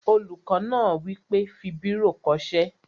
Olùkọ́ náà wí pé, "fi bírò kọ ṣé!"